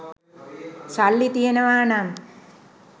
සල්ලි තියෙනවා නම්